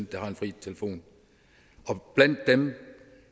der har fri telefon og blandt dem